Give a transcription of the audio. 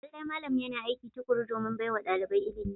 Lallai malam yana aiki tukuru domin baiwa dalibai ilimi.